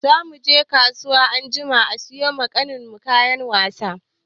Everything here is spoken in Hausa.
Za mu je kasuwa anjima siyo ma ƙanin mu kayan wasa.